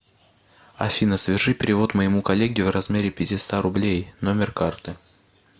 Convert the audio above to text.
афина соверши перевод моему коллеге в размере пятиста рублей номер карты